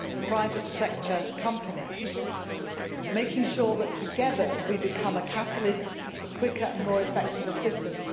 private sector companies making sure that together we become a catalyst for quicker and more effective assistance